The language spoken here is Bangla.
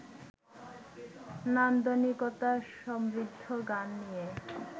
নান্দনিকতা সমৃদ্ধ গান নিয়ে